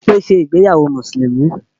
Bímpé ṣe ìgbéyàwó Mùsùlùmí